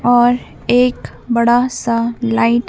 और एक बड़ा सा लाइट --